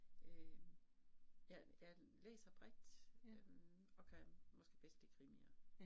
Øh jeg jeg læser bredt øh, og kan måske bedst lide krimier